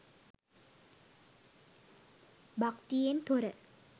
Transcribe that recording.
භක්තියෙන් තොර